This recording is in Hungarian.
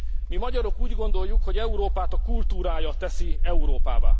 Mi, magyarok úgy gondoljuk, hogy Európát a kultúrája teszi Európává.